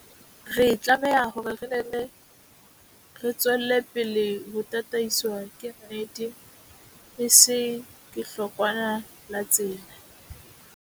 Re tlameha hore re nne re tswele pele ho tataiswa ke nnete, e seng ke hlokwana la tsela.